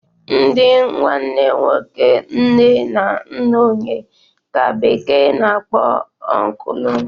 Ndị nwanne nwoke nne na nna onye ka bekee na-akpọ ọnklụ